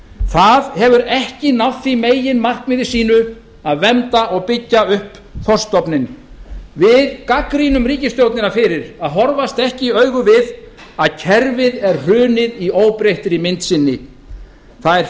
það hefur ekki náð því meginmarkmiði sínu að vernda og byggja upp þorskstofninn við í v g gagnrýnum ríkisstjórnina fyrir að horfast ekki í augu við það að kerfið er hrunið í óbreyttri mynd sinni það er